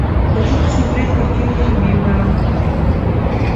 хочу посмотреть картину любимая